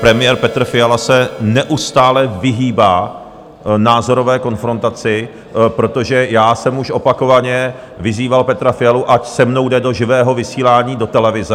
Premiér Petr Fiala se neustále vyhýbá názorové konfrontaci, protože já jsem už opakovaně vyzýval Petra Fialu, ať se mnou jde do živého vysílání do televize.